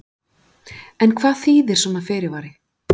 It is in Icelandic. En hvað þýðir svona fyrirvari?